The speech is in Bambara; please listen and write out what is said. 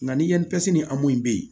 Nka ni yan pisi ni hɔmu be ye